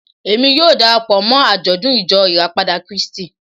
Èmi yóò dara pọ̀ mọ́ àjọ̀dún Ìjọ Ìràpadà Kírísítì